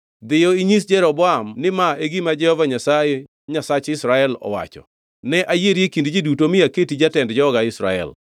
Dhiyo, inyis Jeroboam ni ma e gima Jehova Nyasaye Nyasach Israel owacho, ‘Ne ayieri e kind ji duto mi aketi jatend joga Israel.